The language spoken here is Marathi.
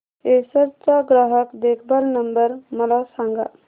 एसर चा ग्राहक देखभाल नंबर मला सांगा